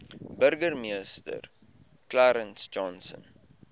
burgemeester clarence johnson